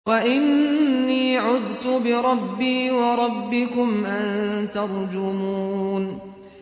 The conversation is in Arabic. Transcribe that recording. وَإِنِّي عُذْتُ بِرَبِّي وَرَبِّكُمْ أَن تَرْجُمُونِ